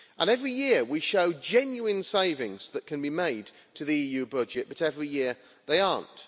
Every year we show genuine savings that can be made to the EU budget but every year they aren't.